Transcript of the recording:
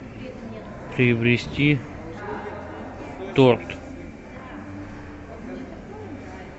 приобрести торт